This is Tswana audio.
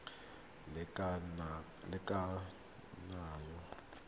teng ga lenane la kananyo